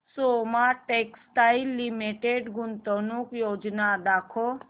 Soma textile limited गुंतवणूक योजना दाखव